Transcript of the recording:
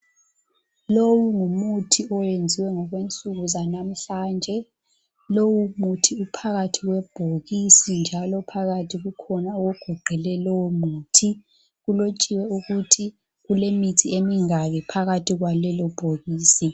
Lowu ngumuthi owenziwa ngokwensuku zanamhlanje. Lowu muthi uphakathi kwebhokisi njalo phakathi kukhona ogoqele lowomuthi. Kulotshiwe ukuthi kulemithi emingaki phakathi kwalelobhokisi.